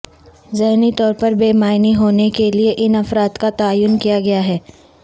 ذہنی طور پر بے معنی ہونے کے لئے ان افراد کا تعین کیا گیا ہے